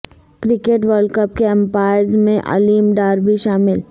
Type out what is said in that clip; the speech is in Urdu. کرکٹ ورلڈ کپ کے امپائرز میں علیم ڈار بھی شامل